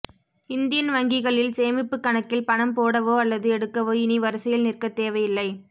Indian வங்கிகளில் சேமிப்பு கணக்கில் பணம் போடவோ அல்லது எடுக்கவோ இனி வரிசையில் நிற்க தேவையில்லை